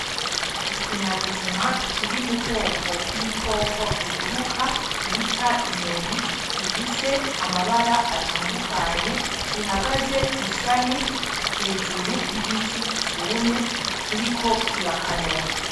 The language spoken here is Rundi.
Ikinyabuzima kiri mu bwoko bw'ibikoko biguruka bita inyoni gifise amabara atandukanye gihagaze kw'ishami hejuru ry'igiti cumye kiriko kirakanura.